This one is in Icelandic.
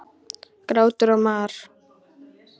Grátur og mar.